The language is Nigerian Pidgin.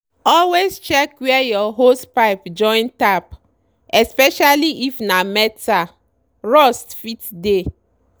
always check where your hosepipe join tap especially if na metal—rust fit dey.